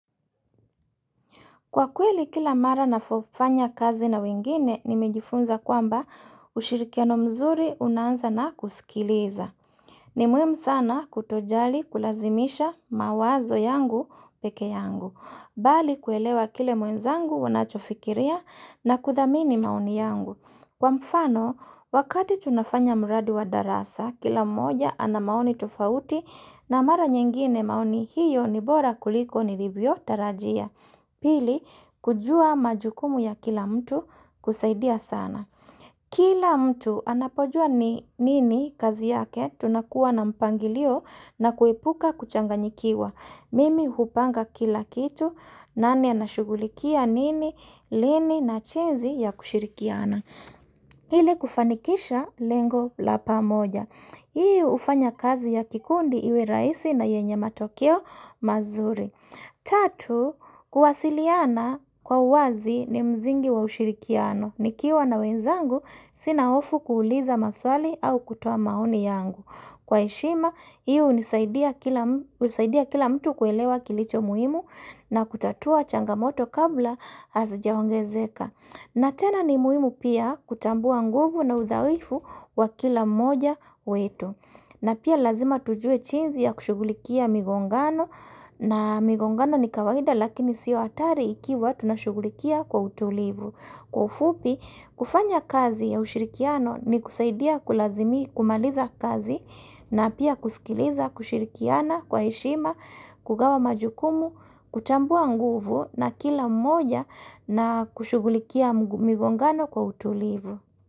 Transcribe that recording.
Kwa kweli kila mara navofanya kazi na wengine, nimejifunza kwamba ushirikiano mzuri unaanza na kusikiliza. Ni muhimu sana kutojali kulazimisha mawazo yangu pekee yangu. Bali kuelewa kile mwenzangu anachofikiria na kuthamini maoni yangu. Kwa mfano, wakati tunafanya mradi wa darasa, kila mmoja ana maoni tofauti na mara nyingine maoni hiyo nibora kuliko nilivyo tarajia. Pili, kujua majukumu ya kila mtu kusaidia sana. Kila mtu anapojua ni nini kazi yake tunakuwa na mpangilio na kuepuka kuchanganyikiwa. Mimi hupanga kila kitu, nani anashugulikia nini, lini na chenzi ya kushirikiana. Ili kufanikisha lengo lapa moja. Hii ufanya kazi ya kikundi iwe rahisi na yenye matokeo mazuri. Tatu, kuwasiliana kwa wazi ni mzingi wa ushirikiano nikiwa na wenzangu, sina hofu kuuliza maswali au kutoa maoni yangu Kwa heshima, hii husaidia kila mtu kuelewa kilicho muhimu na kutatua changamoto kabla hazijaongezeka na tena ni muhimu pia kutambua nguvu na udhaifu wa kila moja wetu na pia lazima tujue jinzi ya kushugulikia migongano na migongano ni kawaida lakini siyo hatari ikiwa tunashugulikia kwa utulivu. Kwa ufupi, kufanya kazi ya ushirikiano ni kusaidia kulazimi kumaliza kazi na pia kuskiliza kushirikiana kwa heshima, kugawa majukumu, kutambua nguvu na kila mmoja na kushugulikia migongano kwa utulivu.